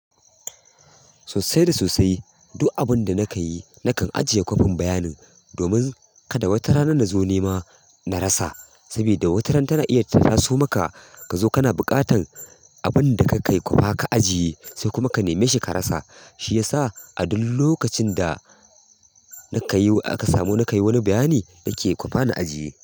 Sosai da sosai. Duk abin da na ka yi na kan ajiye kwafin bayanin domin kada wata rana na zo nema na rasa. Saboda wata rana tana iya taso maka ka zo kana buƙatan abin da ka yi kwafa ka ajiye sai kuma ka neme shi ka rasa. Shi yasa a duk lokacin da na ka yi aka samu na ka yi wani bayani na ke kwafa na ajiye.